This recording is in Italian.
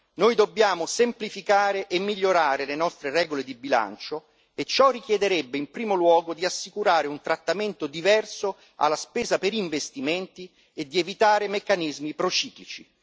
Noi dobbiamo semplificare e migliorare le nostre regole di bilancio e ciò richiederebbe, in primo luogo, di assicurare un trattamento diverso alla spesa per investimenti e di evitare meccanismi prociclici.